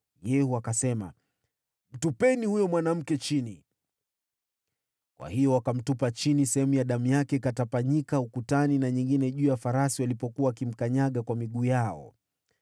Yehu akasema, “Mtupeni huyo mwanamke chini!” Kwa hiyo wakamtupa chini, nayo baadhi ya damu yake ikatapanyika ukutani na nyingine juu ya farasi walipokuwa wakimkanyaga kwa miguu yao.